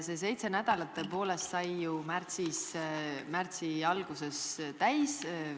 Seitse nädalat tõepoolest sai ju märtsi alguses täis.